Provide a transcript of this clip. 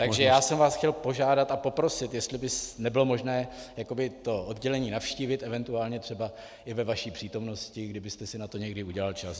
Takže já jsem vás chtěl požádat a poprosit, jestli by nebylo možné to oddělení navštívit, eventuálně třeba i ve vaší přítomnosti, kdybyste si na to někdy udělal čas.